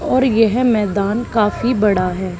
और येह मैदान काफी बड़ा है।